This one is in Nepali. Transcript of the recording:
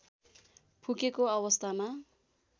फुकेको अवस्थामा